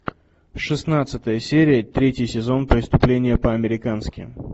шестнадцатая серия третий сезон преступление по американски